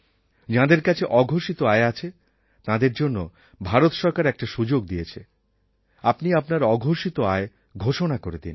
যাঁদের কাছে অঘোষিত আয় আছে তাঁদের জন্য ভারত সরকার একটা সুযোগ দিয়েছে আপনি আপনার অঘোষিত আয় ঘোষণা করে দিন